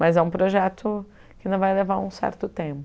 Mas é um projeto que ainda vai levar um certo tempo.